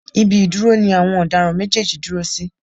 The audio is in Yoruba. Ibi ìdúró ni àwọn ọ̀daràn méjèèjì dúró sí.